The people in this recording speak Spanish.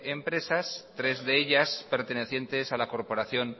empresas tres de ellas pertenecientes a la corporación